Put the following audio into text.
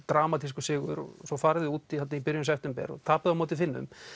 dramatískur sigur svo farið þið út í byrjun september og tapið á móti Finnum